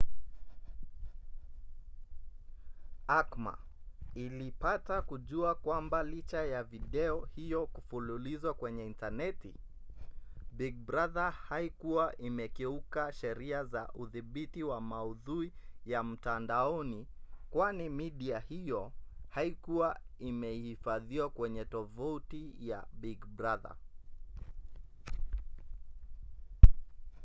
acma ilipata kujua kwamba licha ya video hiyo kufululizwa kwenye intaneti big brother haikuwa imekiuka sheria za udhibiti wa maudhui ya mtandaoni kwani midia hiyo haikuwa imehifadhiwa kwenye tovuti ya big brother